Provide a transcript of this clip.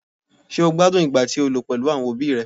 Ṣé́ o gbádùn ìgbà to lò pèlú àwọn òbí ẹ?